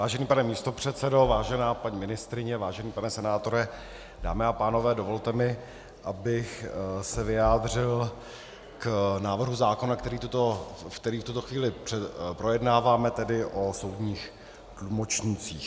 Vážený pane místopředsedo, vážená paní ministryně, vážený pane senátore, dámy a pánové, dovolte mi, abych se vyjádřil k návrhu zákona, který v tuto chvíli projednáváme, tedy o soudních tlumočnících.